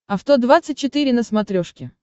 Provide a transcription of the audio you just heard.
авто двадцать четыре на смотрешке